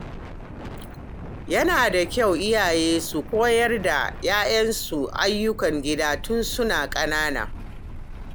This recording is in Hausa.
Yana da kyau iyaye su koyar da ƴaƴansu ayyukan gida tun suna ƙanana.